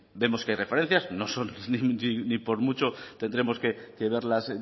vemos que hay referencias no son ni por mucho tendremos que verlas